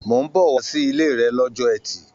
Mó n bọ wá sile rẹ l'ọjọ́ ẹtì.